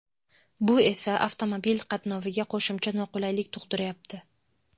Bu esa avtomobil qatnoviga qo‘shimcha noqulaylik tug‘diryapti.